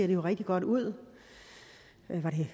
jo rigtig godt ud